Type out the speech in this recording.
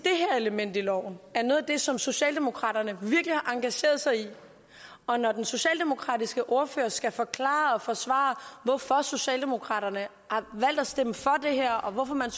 element i loven er noget af det som socialdemokraterne virkelig har engageret sig i og når den socialdemokratiske ordfører skal forklare og forsvare hvorfor socialdemokraterne har valgt at stemme for det her og hvorfor man